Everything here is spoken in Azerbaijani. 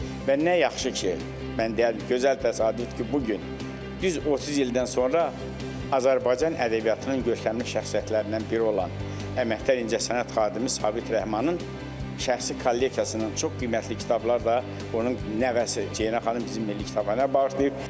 Və nə yaxşı ki, mən deyərdim gözəl təsadüfdür ki, bu gün düz 30 ildən sonra Azərbaycan ədəbiyyatının görkəmli şəxsiyyətlərindən biri olan əməkdar incəsənət xadimi Sabit Rəhmanın şəxsi kolleksiyasının çox qiymətli kitabları da onun nəvəsi Ceyran xanım bizim Milli Kitabxanaya bağışlayıb.